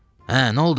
Hə, nə oldu?